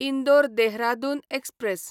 Indore Dehradun express